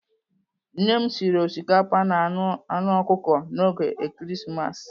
Nne m sịrị osikapa na anụ anụ ọkụkọ n'oge Ekeresimesi.